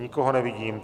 Nikoho nevidím.